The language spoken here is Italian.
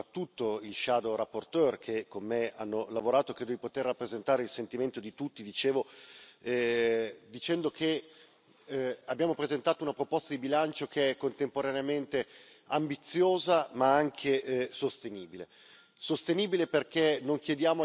naturalmente, anche e soprattutto i relatori ombra che hanno lavorato con me credo di poter rappresentare il sentimento di tutti dicendo che abbiamo presentato una proposta di bilancio che è contemporaneamente ambiziosa ma anche sostenibile.